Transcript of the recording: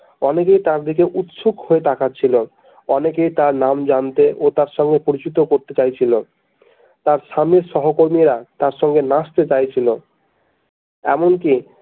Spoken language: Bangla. অনেকেই তার দিকে উচ্ছুক হয়ে তাকাচ্ছিল অনেকেই তার নাম জানতে ও তার সঙ্গে পরিচিত করতে চাইছিল তার স্বামীর সহকর্মীরা তার সঙ্গে নাচতে চাইছিল এমনকি।